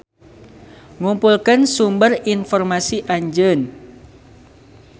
Ngumpulkeun sumber informasi Anjeun.